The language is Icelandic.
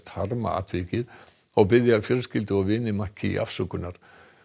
harma atvikið og biðja fjölskyldu og vini afsökunnar